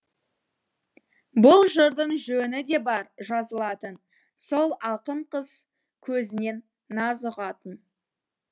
бұл жырдың жөні де бар жазылатын сол ақын қыз көзінен наз ұғатын